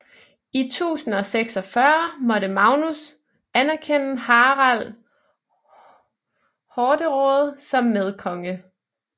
I 1046 måtte Magnus anerkende Harald Hårderåde som medkonge